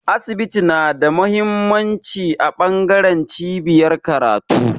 Asibiti yana da mahimmanci a bangaren cibiyar karatu